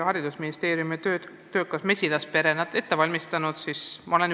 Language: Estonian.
Haridusministeeriumi töökas mesilaspere oli ette valmistanud väga põhjalikud vastused.